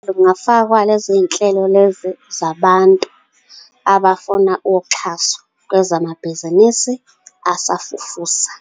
Kungafakwa lezo nhlelo lezo, zabantu, abafuna uxhaso kwezamabhizinisi asafufusa.